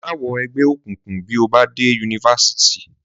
Má wọ ẹgbẹ́ òkùnkùn bí o bá dé yunifásítì!